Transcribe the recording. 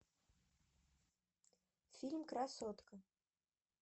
фильм красотка